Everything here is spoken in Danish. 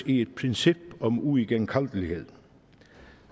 i et princip om uigenkaldelighed